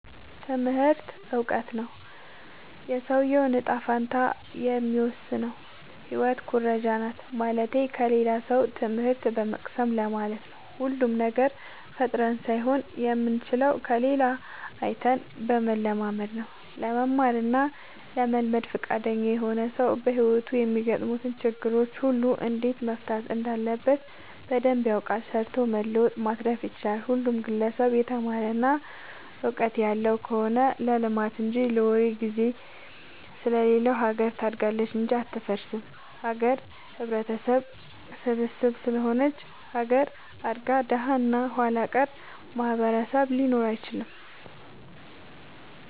ትምህርቱ እውቀቱ ነው። የሰውዬውን ጣፈንታ የሚወስነው ህይወት ኩረጃናት ማለትቴ ከሌላ ሰው ትምህት በመቅሰም ለማለት ነው። ሁሉንም ነገር ፈጥረን ሳይሆን የምንችለው ከሌላ አይተን በመለማመድ ነው። ለመማር እና ለመልመድ ፍቃደኛ የሆነ ሰው በህይወቱ የሚያጋጥሙትን ችግሮች ሁሉ እንዴት መፍታት እንዳለበት በደንብ ያውቃል ሰርቶ መለወጥ ማትረፍ ይችላል። ሁሉም ግለሰብ የተማረ እና ውቀጥት ያለው ከሆነ ለልማት እንጂ ለወሬ ግዜ ስለሌለው ሀገር ታድጋለች እንጂ አትፈርስም። ሀገር ህብረተሰብ ስብስብ ስለሆነች ሀገር አድጋ ደሀ እና ኋላቀር ማህበረሰብ ሊኖር አይችልም።